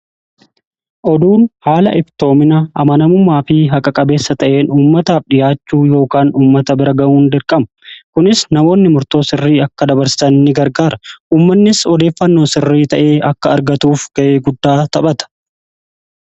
oduun haala iftoomina, amanamummaa fi haqa-qabeessa ta'een ummataaf dhiyaachuu yookaan ummata bira ga'uun dirqama. Kunis namoonni murtoo sirrii akka dabarsatan gargaara. Uummannis odeeffannoo sirrii ta'ee akka argatuuf ga'ee guddaa taphata.